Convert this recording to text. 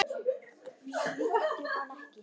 Svíktu hana ekki.